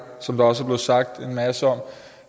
som der også er blevet sagt en masse om